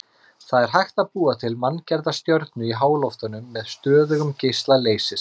Það er hægt að búa til manngerða stjörnu í háloftunum með stöðugum geisla leysis.